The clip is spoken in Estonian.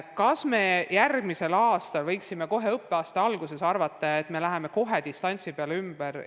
Kas me järgmisel aastal võiksime kohe õppeaasta alguses arvata, et me läheme kohe distantsõppele üle?